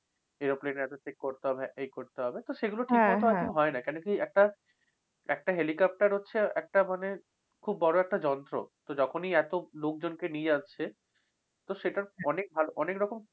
aeroplane এ এটা check করতে হবে, এই করতে হবে। এইগুলো ঠিকমত আরকি হয় না। কেন কি একটা, একটা helicopter হচ্ছে একটা মানে, খুব বড় একটা যন্ত্র। তো যখনই এত লোকজনকে নিয়ে আসছে, তো সেটার অনেক ভালো অনেক রকম